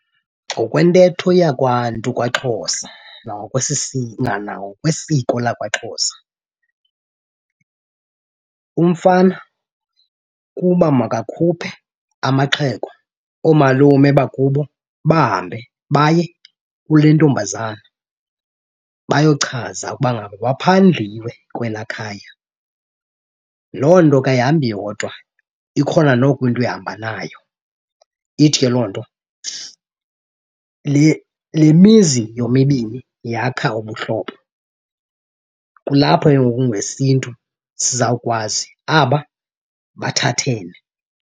Ngokwentetho yakwaNtu kwaXhosa nangokwesiko lakwaXhosa umfana kuba makakhuphe amaxhego, oomalume bakubo bahambe baye kule ntombazana bayochaza ukuba ngaba baphandliwe kwelaa khaya. Loo nto ke ayihambi yodwa ikhona noko into ehamba nayo. Ithi ke loo nto le le mizi yomibini yakha ubuhlobo, kulapho ke ngoku ngesiNtu sizawukwazi aba bathathene.